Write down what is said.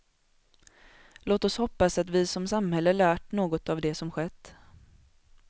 Låt oss hoppas att vi som samhälle lärt något av det som skett.